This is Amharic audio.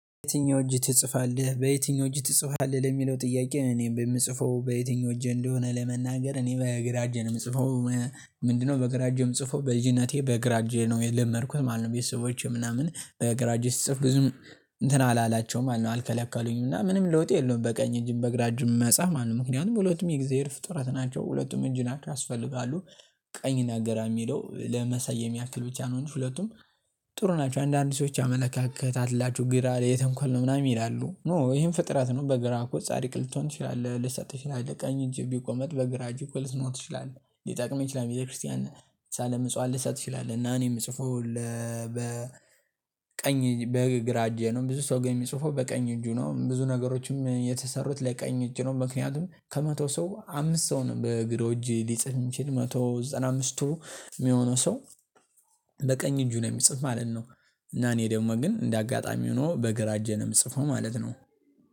በየትኛው እጅህ ትጽፋለህ በየትኛው እጅህ ትጽፋለህ ለሚለው ጥያቄ እኔ በምጽፈው በየትኛው እጄ እንደሆነ ለመናገር እኔ በግራ እጄ ነው የምጽፈው። ምንድነው? በግራ እጄ የም ጽፈው በልጅነቴ በግራ እጄ ነው የለመድኩት ማለት ነው። ቤተሰቦቼ ምናምን በግራ እጄ ስጽፍ ብዙም እንትን አላላቸውም አልከለከሉኝም እና ምንም ለውጥ የለውም። በቀኝ እጅም በግራ እጅም መጻህ ማለት ነው ምክንያቱም ሁለቱም የእግዚአብሔር ፍጥረት ናቸው ሁለቱም እጅና ያስፈልጋሉ። ቀኝ እና ግራ የሚለው ለመሰየም ያክል ብቻ ነው እንጂ ሁለቱም ጥሩ ናቸው። አንዳንድ ሰዎች አመለካከት አላችሁ ግራ የተንኮል ነው ምናምን ይላሉ። ኖ ይሄም ፍጥረት ነው። በግራ እኮ ጻድቅ ልትሆን ትችላለህ ልትሰጥ ትችላለህ። ቀኝ እጅ ቢቆም በግራ እጅ እኮ ልትኖር ትችላለህ ሊጠቅም ይችላል። ቤተክርስቲያን ሳለምጽዋን ልትሰጥ ትችላለህ እና እኔም የምጽፈው በ ቀኝ በግራ እጄ ነው። ብዙ ሰው ግን የሚጽፈው በቀኝ እጁ ነው። ብዙ ነገሮችም የተሰሩት ለቀኝ እጁ ነው። ምክንያቱም ከመቶ ሰው አምስት ሰው ነው በግራ እጅ ሊጽፍ የሚችል መቶ ሰማንያ አምስቱ የሚሆነው ሰው በቀኝ እጁ ነው የሚጽፍ ማለት ነው። እና እኔ ደግሞ ግን እንደ አጋጣሚ ሆኖ በግራ እጄ ነው ምጽፍ ማለት ነው።